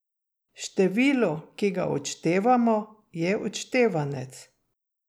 Število, ki ga odštevamo, je odštevanec.